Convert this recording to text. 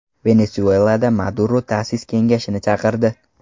Venesuelada Maduro ta’sis kengashini chaqirdi.